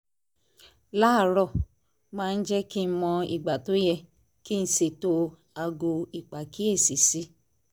láàárọ̀ máa ń jẹ́ kí n mọ ìgbà tó yẹ kí n ṣètò aago ìpàkíyèsí sí